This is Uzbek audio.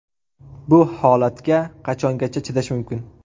Bu holatga qachongacha chidash mumkin?!